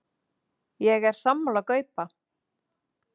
Ég er sammála Gaupa.